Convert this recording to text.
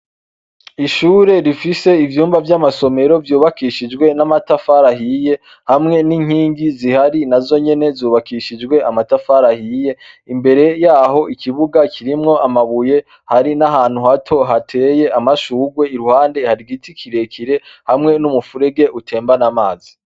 Ishure rifise ivyumba vy'amasomero vyubakishijwe n'amatafari ahiye, hamwe n'inkingi zihari nazo nyene zubakishijwe amatafari ahiye, imbere yaho ikibuga kirimwo amabuye hari n'ahantu hato hateye amashurwe, iruhande har'igiti kirekire hamwe n'umufurege utemban'amazi.